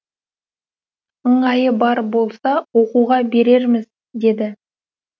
ыңғайы бар болса оқуға берерміз деді